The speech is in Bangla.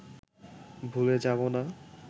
ভুলে যাবো না